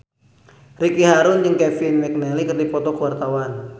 Ricky Harun jeung Kevin McNally keur dipoto ku wartawan